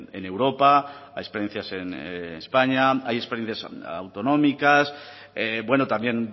en europa hay experiencias en españa hay experiencias autonómicas bueno también